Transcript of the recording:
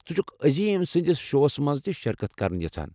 ژٕ چھُکھہٕ عظیم سٕنٛدِس شوَس مَنٛز تہِ شرکت کرٕنہِ یژھان ؟